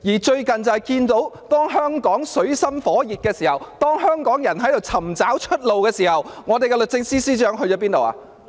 最近香港水深火熱，當香港人正在尋找出路之際，我們的律政司司長哪裏去了？